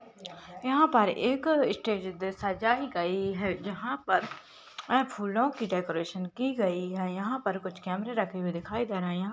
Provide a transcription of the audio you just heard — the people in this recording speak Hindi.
यहाँ पर एक स्टेज सजाई गयी है जहाँ पर अ फूलों की डेकोरेशन की गयी है यहाँ पर कुछ कैमरे रखे हुए दिखाई दे रहे है।